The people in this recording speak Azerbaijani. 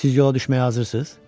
Siz yola düşməyə hazırsınız?